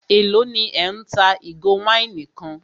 Élò ní ẹ́ ń ta ìgò wáìnì kan?